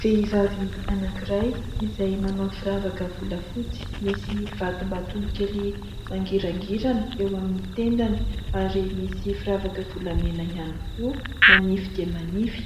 Vehivavy anankiray izay manao firavaka volafotsy misy vatombatony kely mangirangirana eo amin'ny tendany ary misy firavaka volamena ihany koa manify dia manify,